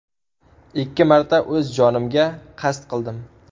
Ikki marta o‘z jonimga qasd qildim.